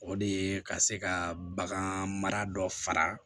O de ye ka se ka bagan mara dɔ fara